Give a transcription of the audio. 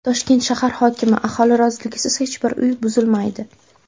Toshkent shahar hokimi: Aholi roziligisiz hech bir uy buzilmaydi.